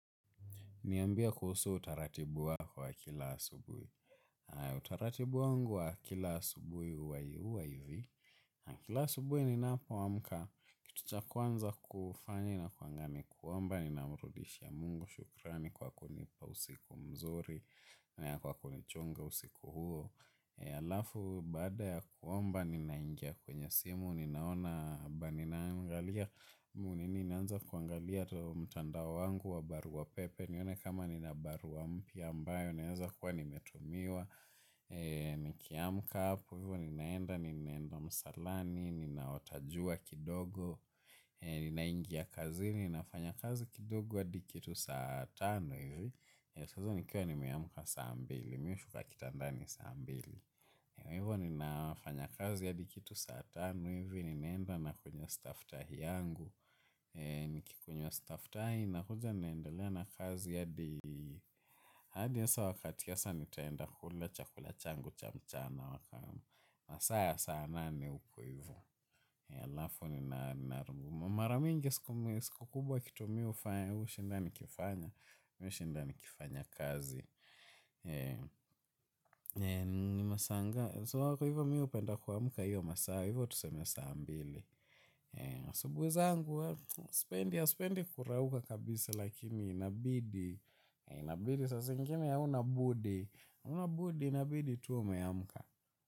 Niambie kuhusu utaratibu wako wa kila asubuhi. Utaratibu wangu wa kila asubuhi huwa huwa ivi. Na kila asubuhi ninapoamka. Kitu cha kwanza kufanya inakuanga ni kuomba. Ninamrudishia mungu shukrani kwa kunipa usiku mzuri. Na kwa kunichunga usiku huo. Alafu baada ya kuomba ninaingia kwenye simu. Ninaona ba ninaangalia. Mungu nini ninaanza kuangalia mtandao wangu wa barua pepe. Nione kama nina barua mpya ambayo, inaweza kuwa nimetumiwa. Nikiamka hapo, ninaenda, ninaenda msalani, ninaota jua kidogo. Ninaingia kazini, ninafanya kazi kidogo hadi kitu saa tano hivi. Saa hizo nikiwa nimeamka saa mbili, nimeshuka kitandani saa mbili. Hivyo ninafanya kazi hadi kitu saa tano hivi, ninaenda na kunywa staftahi yangu. Nikikunywa staftahi nakuja naendelea na kazi. Hadi hasa wakati hasa nitaenda kula chakula changu cha mchana. Masaa ya saa nane huko ivo. Mara mingi siku kubwa kitu mimi hufanya hushinda nikifanya kazi. Ni masaa ngapi, so hapo hivyo mimi hupenda kuamka hivyo masaa hivyo tuseme saa mbili asubuhi zangu sipendi kurauka kabisa. Lakini inabidi. Inabidi saa zingine hauna budi hauna budi inabidi tu umeamka.